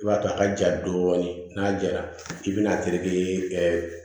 I b'a to a ka ja dɔɔni n'a jara k'i bɛna a terikɛ